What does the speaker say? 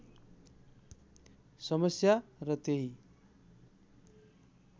समस्या र त्यही